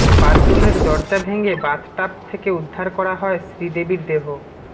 বাথরুমের দরজা ভেঙে বাথটাব থেকে উদ্ধার করা হয় শ্রীদেবীর দেহ